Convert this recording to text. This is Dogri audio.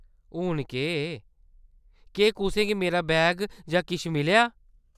हून केह्‌‌ ? केह्‌‌ कुसै गी मेरा बैग जां किश मिलेआ ?